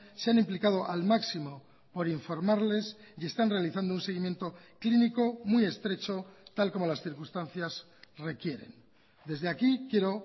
se han implicado al máximo por informarles y están realizando un seguimiento clínico muy estrecho tal como las circunstancias requieren desde aquí quiero